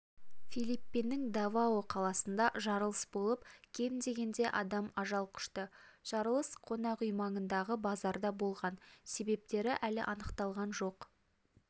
филипиннің давао қаласында жарылыс болып кем дегенде адам ажал құшты жарылыс қонақ үй маңындағы базарда болған себептері әлі анықталған жоқ